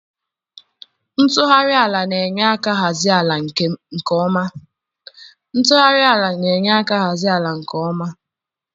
Ntughari ala na-enye aka hazie ala nke mma.